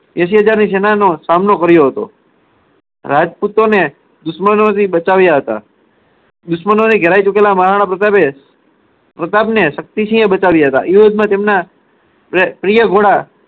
એસી હજારની સેનાનો સામનો કર્યો હતો. રાજપૂતોને દુશ્મનોથી બચાવ્યા હતા. દુશ્મનોથી ઘેરાઈ ચૂકેલા મહારાણા પ્રતાપે પ્રતાપને શક્તિ સિંહે બચાવ્યા હતા. યુદ્ધમાં તેમના ઉહ પ્રિય ઘોડા